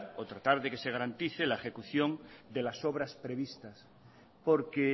o tratar de que se garantice la ejecución de las obras previstas porque